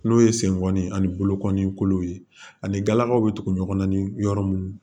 N'o ye senkɔni ani bolokoli kolo ye ani galakaw be tugu ɲɔgɔn na ni yɔrɔ mun